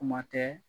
Kuma tɛ